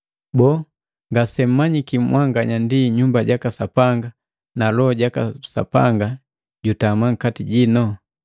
Boo, ngasemmanyiki mwanganya ndi Nyumba jaka Sapanga na Loho jaka Sapanga jutama nkati jino?